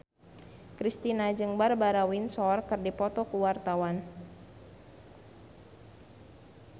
Kristina jeung Barbara Windsor keur dipoto ku wartawan